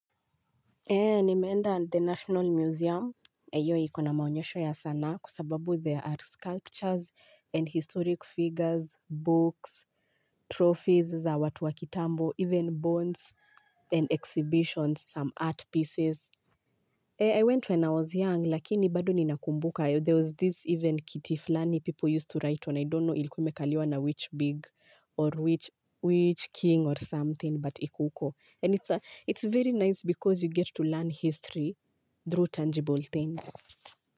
Nimeenda at the National Museum, hio ikona maonyesho ya sanaa, kwa sababu there are sculptures and historic figures, books, trophies za watu wa kitambo, even bones and exhibitions, some art pieces. I went when I was young, lakini bado ninakumbuka, there was this even kiti fulani people used to write on, I don't know ilikuwa imekaliwa na which big or which king or something, but iko huko. And it's very nice because you get to learn history through tangible things.